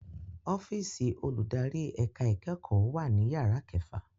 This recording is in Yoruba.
ọ́fíìsì olùdarí ẹ̀ka ìkẹ́kọ̀ọ́ wà ní yàrá kẹfà